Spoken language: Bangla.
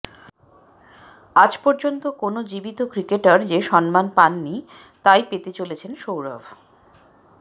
আজ পর্যন্ত কোনও জীবিত ক্রিকেটার যে সম্মান পাননি তাই পেতে চলেছেন সৌরভ